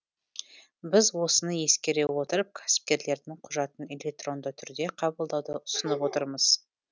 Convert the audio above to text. біз осыны ескере отырып кәсіпкерлердің құжатын электронды түрде қабылдауды ұсынып отырмыз